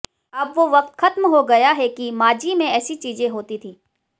अब वो वक्त खत्म हो गया है कि माजी में ऐसी चीजें होती थी